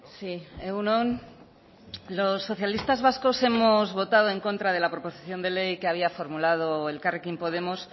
sí egun on los socialistas vascos hemos votado en contra de la proposición de ley que había formulado elkarrekin podemos